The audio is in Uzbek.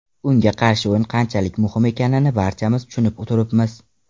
Unga qarshi o‘yin qanchalik muhim ekanini barchamiz tushunib turibmiz.